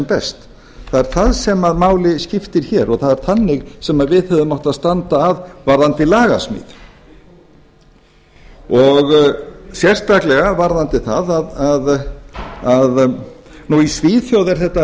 best það er það sem máli skiptir hér og það er þannig sem við hefðum átt að standa að varðandi lagasmíð sérstaklega varðandi það að í svíþjóð er þetta